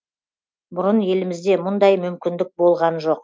бұрын елімізде мұндай мүмкіндік болған жоқ